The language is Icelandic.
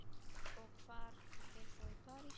Og hvar býrð þú í París?